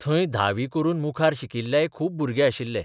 थंय धावी करून मुखार शिकिल्लेय खूब भुरगे आशिल्ले.